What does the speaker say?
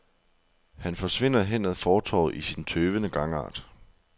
Han forsvinder hen ad fortovet i sin tøvende gangart.